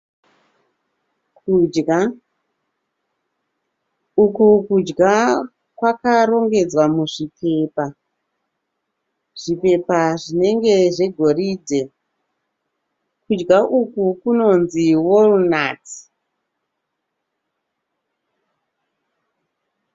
Kudya. Uku kudya kwakarongedzwa muzvipepa, zvipepa zvinenge zvegoridhe. Kudya uku kunonzi Walnuts.